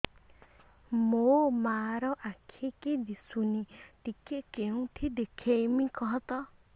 ମୋ ମା ର ଆଖି କି ଦିସୁନି ଟିକେ କେଉଁଠି ଦେଖେଇମି କଖତ